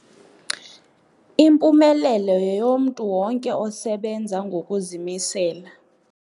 Impumelelo yeyomntu wonke osebenza ngokuzimisela.